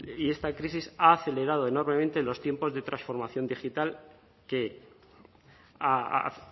y esta crisis ha acelerado enormemente los tiempos de transformación digital que ha